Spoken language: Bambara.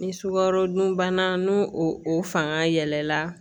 Ni sukarodunbana n'o o fanga yɛlɛla